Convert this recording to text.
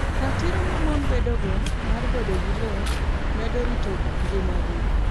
Ratiro ma mon bedogo mar bedo gi lowo medo rito ngimagi.